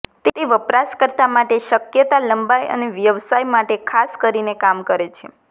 તે વપરાશકર્તા માટે શક્યતા લંબાય અને વ્યવસાય માટે ખાસ કરીને કામ કરે છે